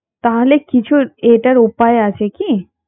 তাহলে কিছু এটার উপায় আছে কি